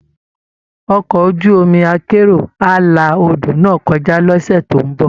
Ọkọ̀ ojú omi akérò á la odò náà kọjá lọ́sẹ̀ tó ń bọ̀